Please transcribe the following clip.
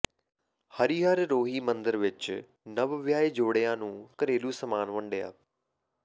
ਹਰੀਹਰ ਰੋਹੀ ਮੰਦਿਰ ਵਿਚ ਨਵ ਵਿਆਹੇ ਜੋੜਿਆਂ ਨੂੰ ਘਰੇਲੂ ਸਮਾਨ ਵੰਡਿਆ